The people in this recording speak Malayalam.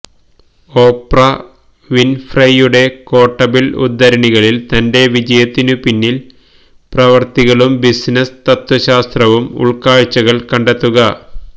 ഓപ്ര വിൻഫ്രെയുടെ ക്വോട്ടബിൾ ഉദ്ധരണികളിൽ തന്റെ വിജയത്തിനു പിന്നിൽ പ്രവർത്തികളും ബിസിനസ് തത്ത്വശാസ്ത്രവും ഉൾക്കാഴ്ചകൾ കണ്ടെത്തുക